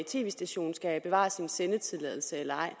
tv station skal bevare sin sendetilladelse eller ej